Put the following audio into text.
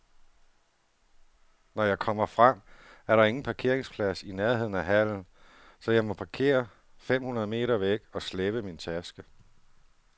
Når jeg kommer frem, er der ingen parkeringsplads i nærheden af hallen, så jeg må parkere fem hundrede meter væk og slæbe min taske.